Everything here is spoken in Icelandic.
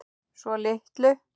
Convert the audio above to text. Svo litlu.